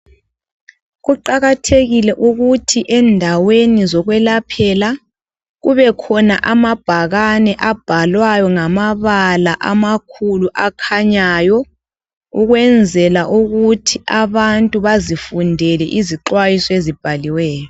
Kuqakathekile ukuthi endaweni zokwelaphela, kubekhona amabhakane abhalwayo ngamabala amakhulu akhanyayo, ukwenzela ukuthi abantu bazifundele izixwayiso ezibhaliweyo.